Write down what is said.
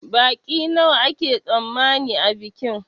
Baƙi nawa ake tsammani a bikin?